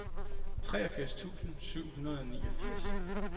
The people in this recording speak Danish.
treogfirs tusind syv hundrede og niogfirs